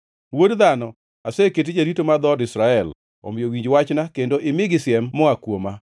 “Wuod dhano, aseketi jarito mar dhood Israel, omiyo winj wachna kendo imigi siem moa kuoma.